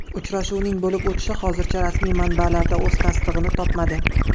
Uchrashuvning bo‘lib o‘tishi hozircha rasmiy manbalarda o‘z tasdig‘ini topmadi.